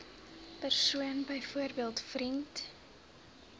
persoon byvoorbeeld vriend